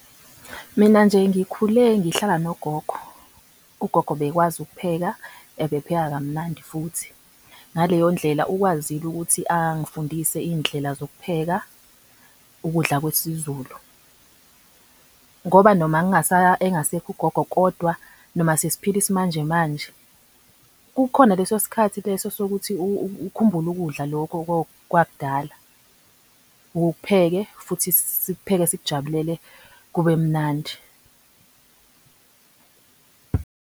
Mina nje ngikhule ngihlala nogogo. Ugogo bekwazi ukupheka. Ebepheka kamnandi futhi ngaleyo ndlela ukwazile ukuthi angifundise indlela zokuphepha ukudla kwesizulu. Ngoba noma engasekho ugogo kodwa noma sesiphila isimanje manje kukhona leso sikhathi leso sokuthi ukhumbule ukudla lokho kwakudala ukupheke futhi sikupheke sikujabulele kube mnandi